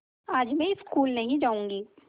आज मैं स्कूल नहीं जाऊँगी